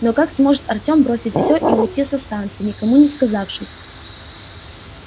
но как сможет артем бросить все и уйти со станции никому не сказавшись